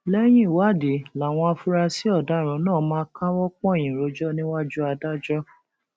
lẹyìn ìwádìí làwọn afurasí ọdaràn náà máa káwọ pọnyìn rojọ níwájú adájọ